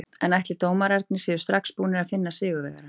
En ætli dómararnir séu strax búnir að finna sigurvegarann?